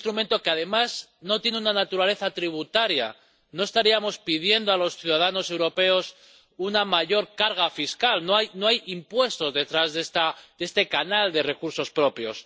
Un instrumento que además no tiene una naturaleza tributaria, no estaríamos pidiendo a los ciudadanos europeos una mayor carga fiscal. No hay impuestos detrás de este canal de recursos propios.